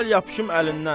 Gəl yapışım əlindən.